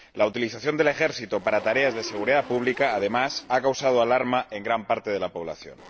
La utilización del ejército para tareas de seguridad pública, además, ha causado alarma en gran parte de la población.